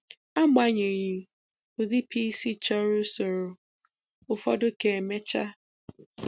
Agbanyeghị, ụdị PC chọrọ usoro ụfọdụ ka emechaa.